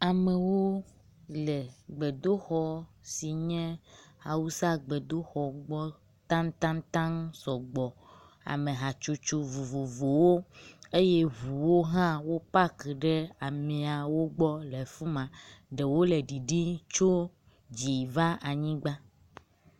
amewo le gbedoxɔ si nye awusa ƒe gbedoxɔ gbɔ taŋtaŋtaŋ sɔgbɔ, ame hatsotso vovovowo eye ʋuwo hã wó pak ɖe amɛawogbɔ le fima ɖewo le ɖiɖí tso dzi va anyigba